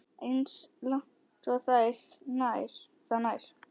Eins langt og það nær.